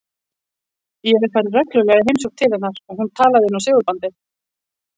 Ég hef farið reglulega í heimsókn til hennar og hún talað inn á segulbandið.